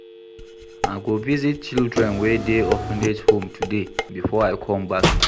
I go visit children wey dey orphanage home today before I come back.